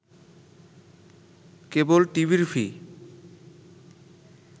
কেবল টিভির ফি